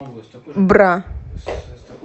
бра